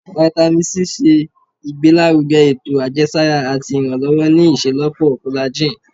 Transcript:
Vitamin C ṣe igbelaruge eto ajẹsara ati iranlọwọ ni iṣelọpọ collagen